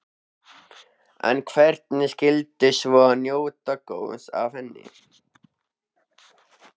En hverjir skyldu svo njóta góðs af henni?